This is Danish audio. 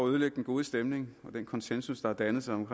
at ødelægge den gode stemning og den konsensus der har dannet sig om